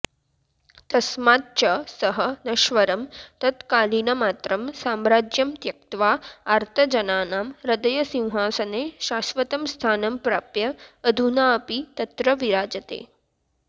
तस्माच्च सः नश्वरं तत्कालीनमात्रं साम्राज्यं त्यक्त्वा आर्तजनानां हृदयसिंहासने शाश्वतं स्थानं प्राप्य अधुनापि तत्र विराजते